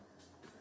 Əsas odur ki, sən.